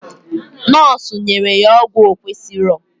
Nọsu nyere ya ọgwụ okwesịrọ